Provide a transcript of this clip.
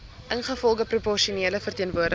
ingevolge proporsionele verteenwoordiging